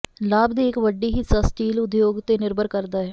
ਲਾਭ ਦੀ ਇੱਕ ਵੱਡੀ ਹਿੱਸਾ ਸਟੀਲ ਉਦਯੋਗ ਤੇ ਨਿਰਭਰ ਕਰਦਾ ਹੈ